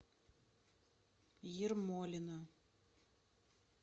ермолино